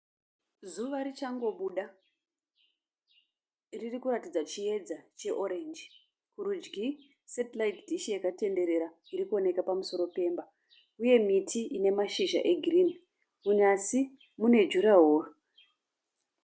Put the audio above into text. Zuva richangobuda. Ririkuratidza chiedza che(orange). Kurudyi (satellite dish) yakatenderera irikuoneka pamusoro pemba uye miti ine mashizha egirinhi. Munyasi mune (durawall).